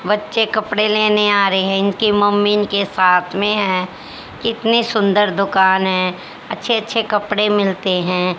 बच्चे कपड़े लेने आ रहे हैं इनकी मम्मी इनके साथ में है कितनी सुंदर दुकान है अच्छे अच्छे कपड़े मिलते हैं।